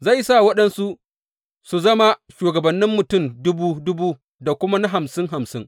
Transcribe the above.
Zai sa waɗansu su zama shugabannin mutum dubu dubu da kuma na hamsin hamsin.